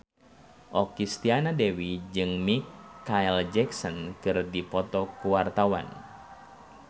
Okky Setiana Dewi jeung Micheal Jackson keur dipoto ku wartawan